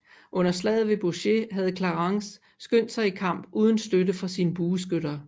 Under slaget ved Baugé havde Clarence skyndt sig i kamp uden støtte fra sine bueskytter